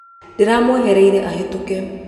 Ndĩramwehereire ahĩtũke.